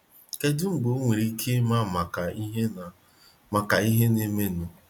Kedu mgbe ọnwere ike ịma maka ihe na- maka ihe na- emenụ?